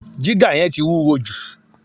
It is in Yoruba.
Jígà yẹn ti wúwo jù